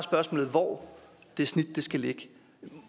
hvor det snit skal ligge